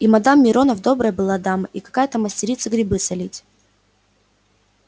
и мадам миронов добрая была дама и какая майстерица грибы солить